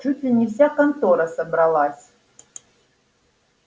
чуть ли не вся контора собралась